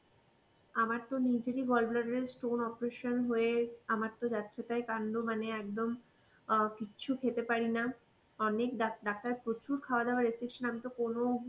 আমার তো নিজেরই gallbladder এর stone operation হয়ে আমার তো যাচ্ছে তাই কান্ড মানে একদম অ কিচ্ছু খেতে পারিনা অনেক ডাক~ ডাক্তার প্রচুর খাওয়া দাওয়া restriction, আমি তো কোন